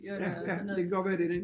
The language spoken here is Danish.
Ja ja det kan godt være det den